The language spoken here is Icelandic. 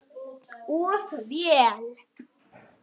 Of vel.